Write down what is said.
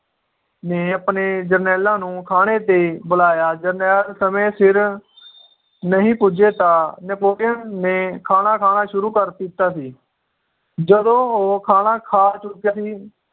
ਨੇ ਆਪਣੇ ਜਰਨੈਲਾਂ ਨੂੰ ਖਾਣੇ ਤੇ ਬੁਲਾਇਆ ਜਰਨੈਲ ਸਮੇ ਸਿਰ ਨਹੀਂ ਪੁੱਜੇ ਤਾਂ Napolean ਨੇ ਖਾਣਾ ਖਾਣਾ ਸ਼ੁਰੂ ਕਰ ਦਿੱਤਾ ਸੀ ਜਦੋ ਉਹ ਖਾਣਾ ਖਾ ਚੁੱਕਾ ਸੀ